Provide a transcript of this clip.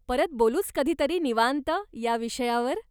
परत बोलूच कधीतरी निवांत या विषयावर.